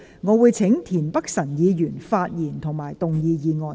我請田北辰議員發言及動議議案。